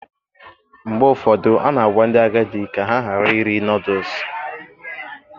Mgbe ụfọdụ, a na-agwa ndị agadi ka ha ghara iri Nọdụs